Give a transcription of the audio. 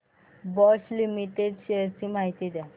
Bosch limited shares ची माहिती द्या